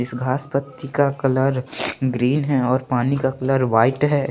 इस घास पत्ती का कलर ग्रीन है और पानी का कलर व्हाइट है।